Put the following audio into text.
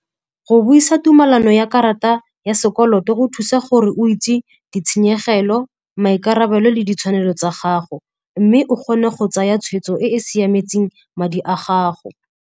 Go buisa tumelano ya karata ya sekoloto go thusa gore o itse ditshenyegelo, maikarabelo le ditshwanelo tsa gago mme o kgone go tsaya tshweetso e e siametseng madi a gago.